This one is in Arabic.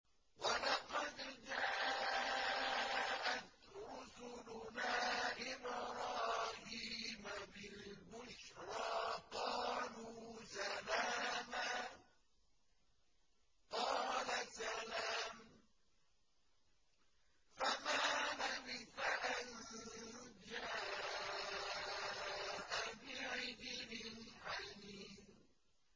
وَلَقَدْ جَاءَتْ رُسُلُنَا إِبْرَاهِيمَ بِالْبُشْرَىٰ قَالُوا سَلَامًا ۖ قَالَ سَلَامٌ ۖ فَمَا لَبِثَ أَن جَاءَ بِعِجْلٍ حَنِيذٍ